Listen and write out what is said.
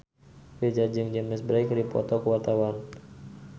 Virzha jeung James Bay keur dipoto ku wartawan